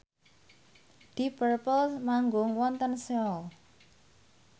deep purple manggung wonten Seoul